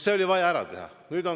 See oli vaja ära teha.